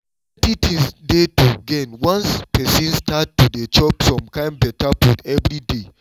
plenty things dey to gain once person start to dey chop some kind better food evey day